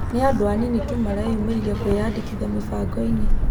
Nĩ andũ anini tu mareyũmĩririe kwĩyandĩkithia mĩbangoinĩ